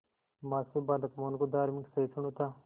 मां से बालक मोहन को धार्मिक सहिष्णुता